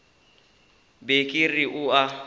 be ke re o a